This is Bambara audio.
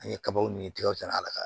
An ye kabaw ni tigɛw dan ala ka